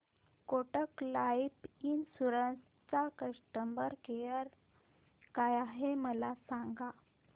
Kotak life insurance चा customer care काय आहे मला सांगा